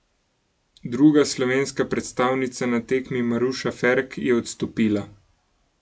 Druga slovenska predstavnica na tekmi Maruša Ferk je odstopila.